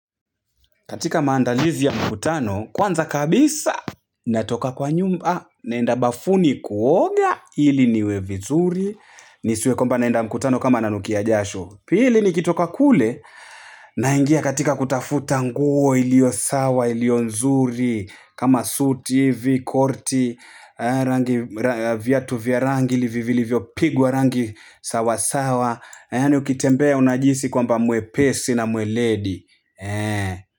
Katika maandalizi ya mkutano, kwanza kabisa, natoka kwa nyumba, naenda bafuni kuoga, ili niwe vizuri, nisiwe kwamba naenda mkutano kama nanukia jasho. Pili ni kitoka kule, naingia katika kutafuta nguo ilio sawa, ilio nzuri, kama suti, hivi korti, viatu vya rangi, vivilivyo pigwa rangi sawa sawa, yani ukitembea unajihisi kwamba mwepesi na mweledi.